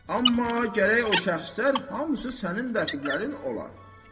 Amma gərək o şəxslər hamısı sənin rəqiblərin olar.